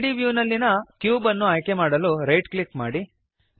3ದ್ ವ್ಯೂನಲ್ಲಿಯ ಕ್ಯೂಬ್ ಅನ್ನು ಆಯ್ಕೆಮಾಡಲು ರೈಟ್ ಕ್ಲಿಕ್ ಮಾಡಿರಿ